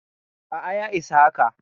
A'a, ya isa haka.